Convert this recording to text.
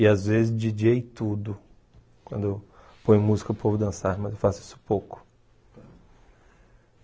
E às vezes djíi djêi tudo, quando eu ponho música para o povo dançar, mas eu faço isso pouco.